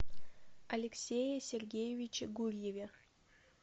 алексее сергеевиче гурьеве